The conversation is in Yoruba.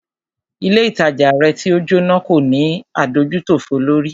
Ilé ìtajà rẹ̀ tí o Jóná kò ní adójútòfò lórí.